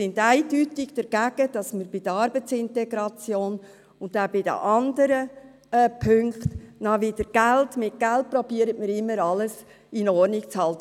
Wir sind dagegen, dass man bei der Arbeitsintegration und andernorts versucht, mit Geld alles in Ordnung zu bringen.